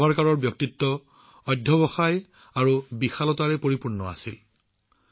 বীৰ সাভাৰকাৰৰ ব্যক্তিত্বত দৃঢ়তা আৰু মহানুভৱতা আছিল